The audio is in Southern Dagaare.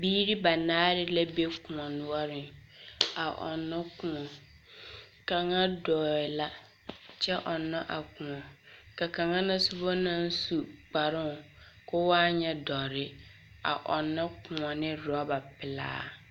Biiri banaare la be kõͻ noͻreŋ a ͻnnͻ kõͻ. Kaŋa dͻͻ la kyԑ ͻnnͻ a kõͻ ka kaŋa na soba naŋ su kparoŋ koo wa nyԑ dͻre a ͻnnͻ kõͻ ne orͻba pelaa.